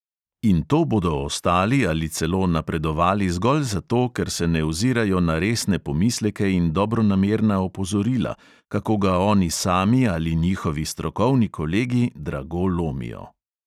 In to bodo ostali ali celo napredovali zgolj zato, ker se ne ozirajo na resne pomisleke in dobronamerna opozorila, kako ga oni sami ali njihovi strokovni kolegi drago lomijo.